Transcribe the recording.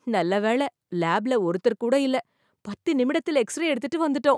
நல்ல வேள லேப்ல ஒருத்தர் கூட இல்ல. பத்து நிமிடத்தில் ஏக்ஸ்ரே எடுத்துட்டு வந்துட்டோம்.